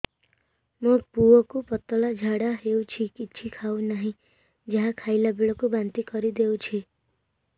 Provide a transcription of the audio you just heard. ମୋ ପୁଅ କୁ ପତଳା ଝାଡ଼ା ହେଉଛି କିଛି ଖାଉ ନାହିଁ ଯାହା ଖାଇଲାବେଳକୁ ବାନ୍ତି କରି ଦେଉଛି